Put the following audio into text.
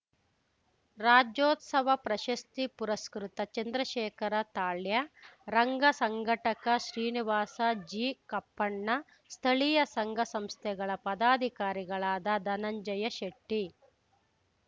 ರಾಜ್ಯೋತ್ಸವ ಪ್ರಶಸ್ತಿ ಪುರಸ್ಕೃತ ಚಂದ್ರಶೇಖರ ತಾಳ್ಯ ರಂಗ ಸಂಘಟಕ ಶ್ರೀನಿವಾಸ ಜಿ ಕಪ್ಪಣ್ಣ ಸ್ಥಳೀಯ ಸಂಘ ಸಂಸ್ಥೆಗಳ ಪದಾಧಿಕಾರಿಗಳಾದ ಧನಂಜಯ ಶೆಟ್ಟಿ